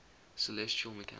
celestial mechanics